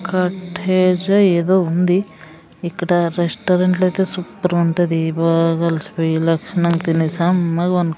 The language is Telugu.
కాటేజ్లా ఏదో ఉంది ఇక్కడ రెస్టారెంట్లో ఐతే సూపర్ ఉంటది బాగా అలిసిపోయి లక్షణంగా తినేసి సమ్మగా పన్--